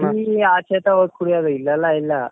tea ಆಚೆ ತ ಹೋಗಿ ಕುಡಿಯೋದು ಇಲ್ಲೆಲ್ಲಾ ಇಲ್ಲ.